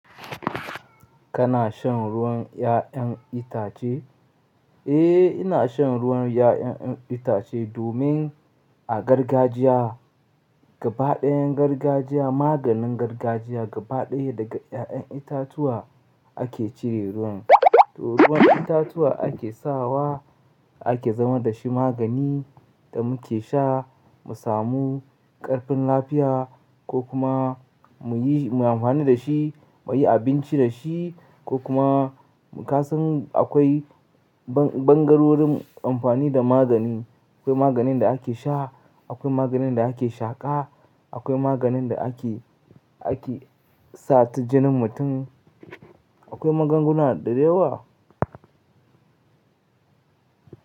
Kana shan ruwan 'ya'yan itace? Eh, ina shan ruwan 'ya'yan itace domin a gargajiya gaba ɗayan gargajiya, maganin gargajiya gaba ɗaya daga 'ya'yan itatuwa ake cire ruwan. To ruwan itatuwa ake sawa ake zama da shi magani da muke sha mu samu ƙarfin lafiya ko kuma mu yi mu yi amfani da shi mu yi abinci da shi ko kuma ka san akwai bangarorin amfani da magani. Akwai maganin da ake sha, akwai maganin da ake shaƙa, akwai maganin da ake, ake sa ta jinin mutum. Akwai magunguna da yawa.